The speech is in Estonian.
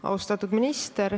Austatud minister!